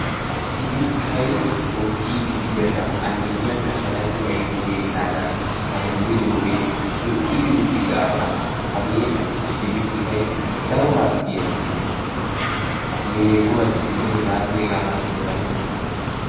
sibikay mokkiidi diyaaga A miyyiyankka sharapi aybbi deenaaga harummidi diyoogee lo''idi uttidaagaa hagee qassi sibikkay daro harggiyassi meeguwassinne heganne hegaa malatiyaabassi maaddees.